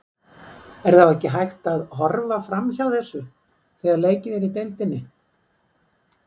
Er þá ekki hægt að horfa framhjá þessu þegar leikið er í deildinni?